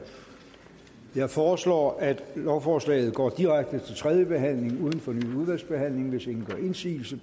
jeg foreslår at lovforslaget går direkte til tredje behandling uden fornyet udvalgsbehandling hvis ingen gør indsigelse